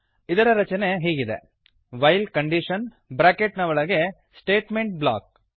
ಇದರ ರಚನೆ ಹೀಗಿದೆ ವೈಲ್ ಕಂಡೀಶನ್ ಬ್ರಾಕೆಟ್ ನ ಒಳಗೆ ಸ್ಟೇಟ್ಮೆಂಟ್ ಬ್ಲಾಕ್